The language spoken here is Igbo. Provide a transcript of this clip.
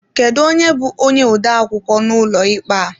Kedụ onye bú onye odeakwụkwọ n'ụlọ ikpe a?